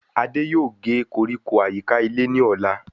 Adé yòó gé koríko àyíká ilé ní ọ̀la